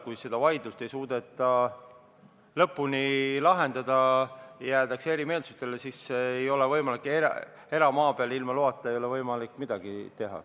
Kui seda vaidlust ei suudeta lõpuni lahendada ja jäävad erimeelsused, siis tuleb öelda, et eramaal ei ole ilma loata võimalik midagi teha.